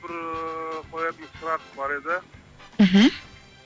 бір ііі қоятын сұрақ бар еді мхм